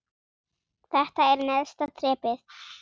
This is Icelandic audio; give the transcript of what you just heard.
Þetta er neðsta þrepið.